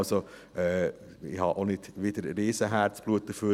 Also: Ich habe wiederum nicht riesig viel Herzblut dafür.